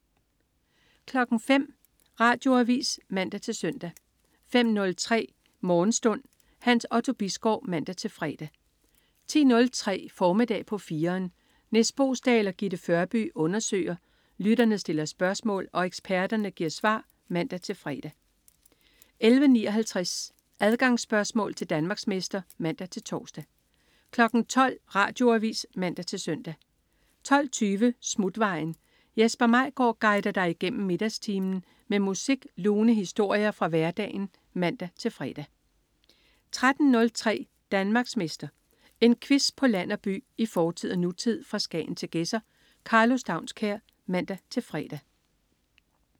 05.00 Radioavis (man-søn) 05.03 Morgenstund. Hans Otto Bisgaard (man-fre) 10.03 Formiddag på 4'eren. Nis Boesdal og Gitte Førby undersøger, lytterne stiller spørgsmål og eksperterne giver svar (man-fre) 11.59 Adgangsspørgsmål til Danmarksmester (man-tors) 12.00 Radioavis (man-søn) 12.20 Smutvejen. Jesper Maigaard guider dig igennem middagstimen med musik og lune historier fra hverdagen (man-fre) 13.03 Danmarksmester. En quiz på land og by, i fortid og nutid, fra Skagen til Gedser. Karlo Staunskær (man-fre)